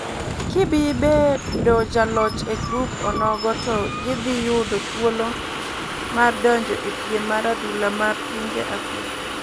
K bibedo joloch e grup onogo to gi dhi yudo thuolo mar donjo e piem mar adhula ma pinje Afrika.